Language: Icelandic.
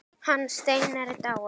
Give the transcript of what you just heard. Hann Steinar er dáinn.